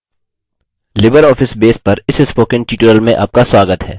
libreoffice base पर इस spoken tutorial में आपका स्वागत है